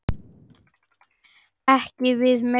Svæðið má ekki við meiru.